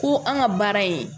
Ko an ka baara ye